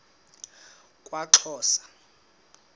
kwaxhosa